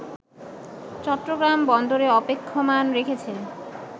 চট্টগ্রাম বন্দরে অপেক্ষমান রেখেছে